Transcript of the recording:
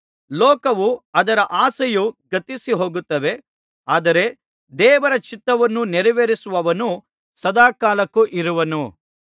ಲೋಕವೂ ಅದರ ಆಸೆಯೂ ಗತಿಸಿಹೋಗುತ್ತವೆ ಆದರೆ ದೇವರ ಚಿತ್ತವನ್ನು ನೆರವೇರಿಸುವವನು ಸದಾಕಾಲಕ್ಕೂ ಇರುವನು